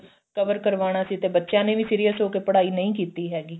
cover ਕਰਵਾਣਾ ਸੀ ਤੇ ਬੱਚਿਆਂ ਨੇ ਵੀ serious ਹੋ ਪੜਾਈ ਨਹੀਂ ਕੀਤੀ ਹੈਗੀ